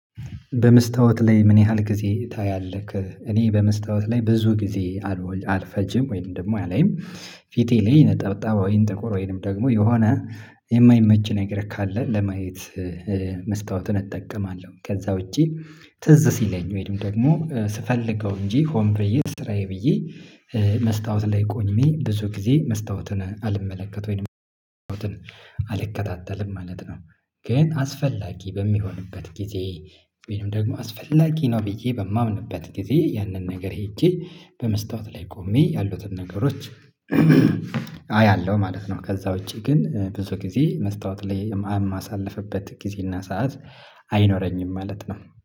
በመስታወት ላይ ምን ያህል ጊዜ ታያለህ? እኔ በመስታወት ላይ ብዙ ጊዜ አልወል አልፈጅም ወይም ደግሞ አላይም። ፊቴ ላይ ነጠብጣብ ወይም ጥቁር ወይም ደግሞ የሆነ የማይመች ነገር ካለ ለማየት። መስታወትን እጠቀማለሁ ከዛ ውጪ ትዝ ሲለኝ ወይም ደግሞ ስፈልገው እንጂ ሆን ብየ ስራዬ ብዬ መስታወት ላይ ቆሜ ብዙ ጊዜ መስታወትን አልመለከትም ወይም መስታወትን አልከታተልም ማለት ነው። ግን አስፈላጊ በሚሆንበት ጊዜ ወይም ደግሞ አስፈላጊ ነው ብዬ በማምንበት ጊዜ ያንን ነገር ሄጄ በመስታወት ላይ ቆሜ ያሉትን ነገሮች አያለሁ ማለት ነው። ከዛ ውጪ ግን ብዙ ጊዜ መስታወት ላይ የማአ አማ የማሳልፍበት ጊዜ ጊዜና ሰዓት አይኖረኝም ማለት ነው